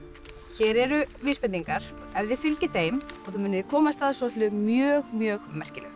hér eru vísbendingar ef þið fylgið þeim munið þið komast að svolitlu mjög mjög merkilegu